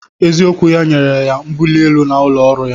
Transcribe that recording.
Eziokwu ya nyere ya mbuli elu n'ụlọ ọrụ ya